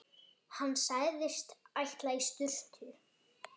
Hann sagðist ætla í sturtu.